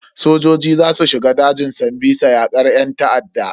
Sojoji za su shiga dajin sambisa yakar yan ta'adda.